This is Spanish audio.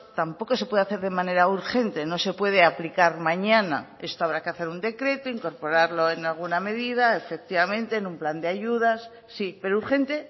tampoco se puede hacer de manera urgente no se puede aplicar mañana esto habrá que hacer un decreto incorporarlo en alguna medida efectivamente en un plan de ayudas sí pero urgente